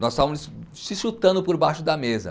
Nós estávamos se chutando por baixo da mesa.